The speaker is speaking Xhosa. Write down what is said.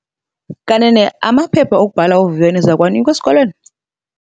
Kanene amaphepha okubhala uviwo niza kuwanikwa esikolweni?